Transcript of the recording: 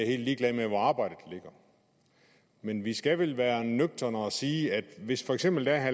er helt ligeglade med hvor arbejdet ligger men vi skal vel være nøgterne og sige at hvis for eksempel der er